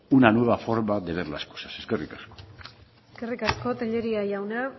una nueva forma de ver las cosas eskerrik asko eskerrik asko tellería jauna